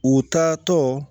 U taatɔ